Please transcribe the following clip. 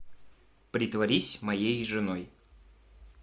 притворись моей женой